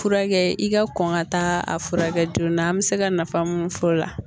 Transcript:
Furakɛ i ka kɔn ka taa a furakɛ joona an be se ka nafa mun f'o la